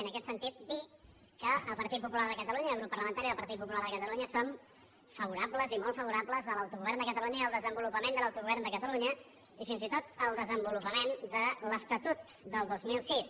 i en aquest sentit dir que el partit popular de catalunya i el grup parla·mentari del partit popular de catalunya som favora·bles i molt favorables a l’autogovern de catalunya i al desenvolupament de l’autogovern de catalunya i fins i tot al desenvolupament de l’estatut del dos mil sis